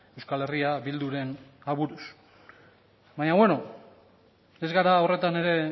euskal herri bilduren aburuz baina ez gara horretan ere